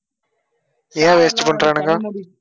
ஏன் waste உ பண்றானுங்க